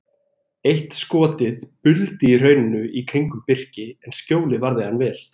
Eitt skotið buldi í hrauninu í kringum Birki en skjólið varði hann vel.